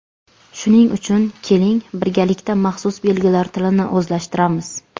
Shuning uchun, keling, birgalikda maxsus belgilar tilini o‘zlashtiramiz.